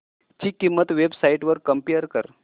ची किंमत websites वर कम्पेअर कर